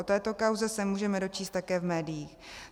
O této kauze se můžeme dočíst také v médiích.